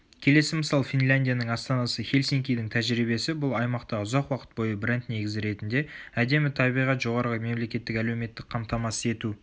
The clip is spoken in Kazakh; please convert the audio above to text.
келесі мысал финляндияның астанасы хельсинкидің тәжірибесі бұл аймақта ұзақ уақыт бойы бренд негізі ретінде әдемі табиғат жоғарғы мемлекеттік әлеуметтік қамтамасыз ету